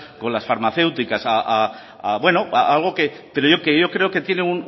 con las farmacéuticas algo que yo creo que tiene